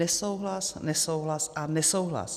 Nesouhlas, nesouhlas a nesouhlas.